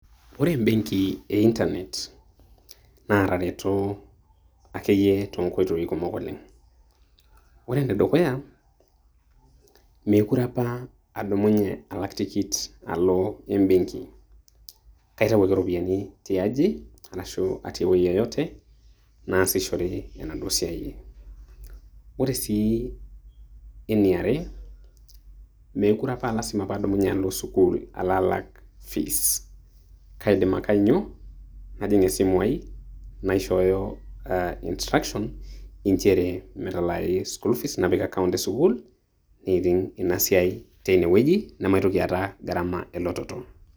Ore ebenki e Internet, na atareto akeyie tonkoitoi kumok oleng'. Ore enedukuya, mekure apa adumunye alak tikit alo ebenki. Katau ake iropiyiani tiaji ashu atii ewueji yoyote ,naasishore endauo siai ai. Ore si eniare, mekure apa lasima padumnye alo sukuul alo alak fees ,kaidim ake ainyo najing' esimu ai, naishooyo ah instructions injere metalaayu sukuul fees ,napik account e sukuul, neiting' inasiai teinewueji namaitoki aata gharama elototo.